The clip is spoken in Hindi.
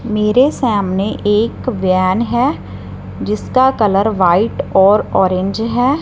मेरे सामने एक वैन है जिसका कलर व्हाईट और ऑरेंज है।